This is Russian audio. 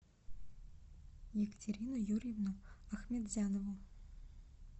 екатерину юрьевну ахметзянову